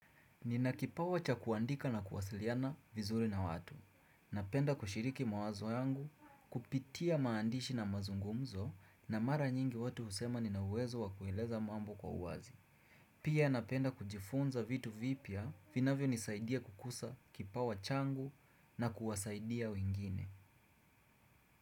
Ninakipawa cha kuandika na kuwasiliana vizuri na watu. Napenda kushiriki mawazo yangu, kupitia maandishi na mazungumzo na mara nyingi watu husema nina uwezo wa kueleza mambo kwa uwazi. Pia napenda kujifunza vitu vipya vinavyonisaidia kukuza kipawa changu na kuwasaidia wingine.